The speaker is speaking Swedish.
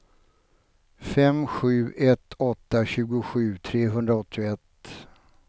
fem sju ett åtta tjugosju trehundraåttioett